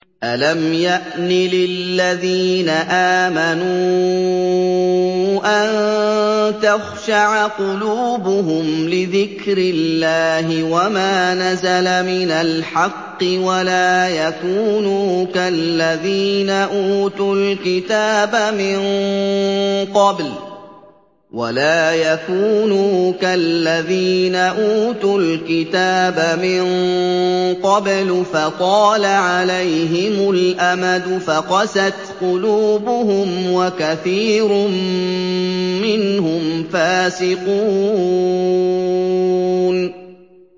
۞ أَلَمْ يَأْنِ لِلَّذِينَ آمَنُوا أَن تَخْشَعَ قُلُوبُهُمْ لِذِكْرِ اللَّهِ وَمَا نَزَلَ مِنَ الْحَقِّ وَلَا يَكُونُوا كَالَّذِينَ أُوتُوا الْكِتَابَ مِن قَبْلُ فَطَالَ عَلَيْهِمُ الْأَمَدُ فَقَسَتْ قُلُوبُهُمْ ۖ وَكَثِيرٌ مِّنْهُمْ فَاسِقُونَ